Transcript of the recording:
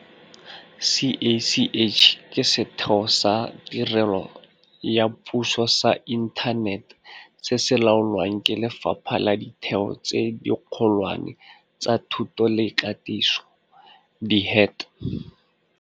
CACH ke setheo sa tirelo ya puso sa inthanete se se laolwang ke Lefapha la Ditheo tse Dikgolwane tsa Thuto le Katiso, DHET.